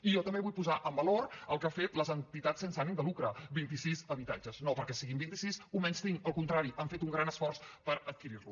i jo també vull posar en valor el que han fet les entitats sense ànim de lucre vint i sis habitatges no perquè siguin vint i sis ho menystinc al contrari han fet un gran esforç per adquirir los